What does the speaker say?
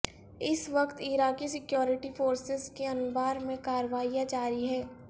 اس وقت عراقی security forces کی انبار میں کارروائیاں جاری ہیں